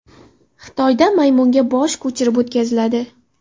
Xitoyda maymunga bosh ko‘chirib o‘tkaziladi.